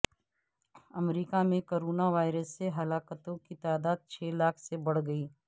امریکہ میں corona virus سے ہلاکتوں کی تعداد چھ لاکھ سے بڑھ گئی